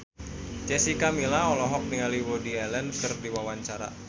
Jessica Milla olohok ningali Woody Allen keur diwawancara